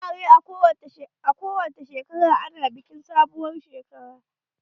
A wukari ana bikin sabuwar doya kowacce shekara.